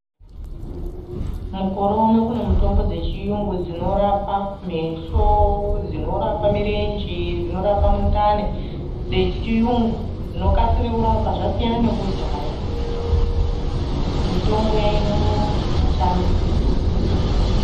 Mukore uno kune mitombo dzechiyungu dzinorapa meso, dzinorapa mirenje, dzinorapa mundani, dzechiyungu dzinokasire kurapa. Zvasiyana nekudhaya mitombo yainonoka, yechiantu.